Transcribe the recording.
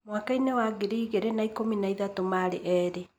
Mwaka-inĩ wa 2013 marĩ erĩ.